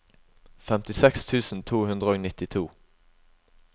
femtiseks tusen to hundre og nittito